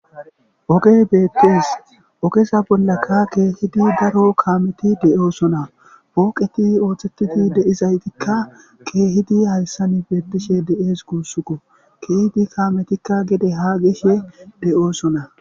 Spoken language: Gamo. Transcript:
Ogey beettees okesa bollaka keehidi daro kaameti deyoosona pooqeti ooththetiti deizaytikka keehidi hayssan beettishe de'ees guussukko keehidi kaametikka gede haa gishe deyoosona